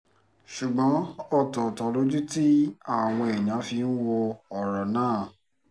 ṣùgbọ́n ọ̀tọ̀ọ̀tọ̀ lojú tí àwọn èèyàn fi ń wo ọ̀rọ̀ náà